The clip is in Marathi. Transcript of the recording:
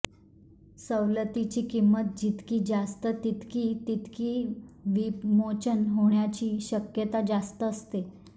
सवलतीची किंमत जितकी जास्त तितकी तितकी विमोचन होण्याची शक्यता जास्त असते